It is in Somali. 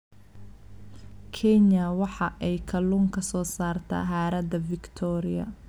Kenya waxa ay kalluun ka soo saartaa harada Victoria.